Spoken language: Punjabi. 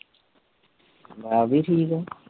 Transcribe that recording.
ਮੈ ਵੀ ਠੀਕ ਆ